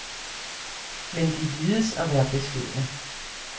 Men de vides at være beskedne.